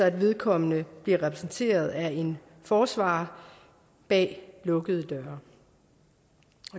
at vedkommende bliver repræsenteret af en forsvarer bag lukkede døre